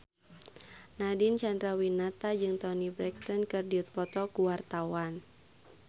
Nadine Chandrawinata jeung Toni Brexton keur dipoto ku wartawan